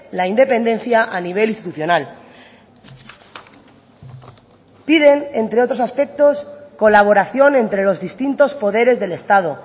la independencia a nivel institucional piden entre otros aspectos colaboración entre los distintos poderes del estado